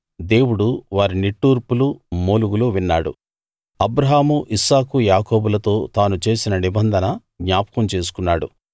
దేవుడు వారి నిట్టూర్పులు మూలుగులు విన్నాడు అబ్రాహాము ఇస్సాకు యాకోబులతో తాను చేసిన నిబంధన జ్ఞాపకం చేసుకున్నాడు